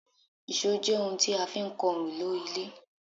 ìṣó jẹ́ oun tí a fi ń kan òrùlé ilé